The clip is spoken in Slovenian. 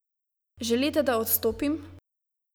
Želite, da odstopim?